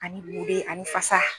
Ani bu de ye ani fasa.